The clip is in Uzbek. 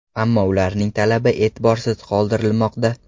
Ammo ularning talabi e’tiborsiz qoldirilmoqda.